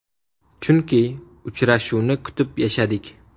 Chunki uchrashuvni kutib yashadik.